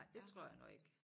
Nej det tror jeg nu ikke